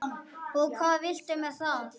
Og hvað viltu með það?